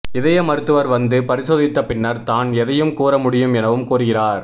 இதய மருத்துவர் வந்து பரிசோதித்த பின்னர் தான் எதையும் கூற முடியும் எனவும் கூறுகிறார்